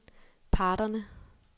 parterne